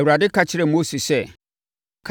Awurade ka kyerɛɛ Mose sɛ,